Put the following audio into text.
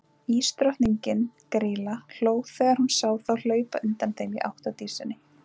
Ísdrottningin, Grýla, hló þegar hún sá þá hlaupa undan þeim í átt að Dísinni.